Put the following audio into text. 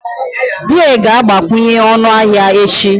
Beer ga-agbakwunye ọnụ ahịa echi